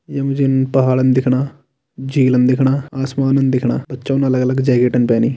यमा जीन पहाड़न दिखणा झिलम दिखणा आसमान दिखणा बच्चो न अलग अलग जैकेटन पेहनी।